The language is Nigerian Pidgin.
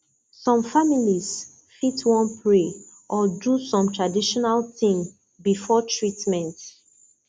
some families fit wan pray or do small traditional thing before treatment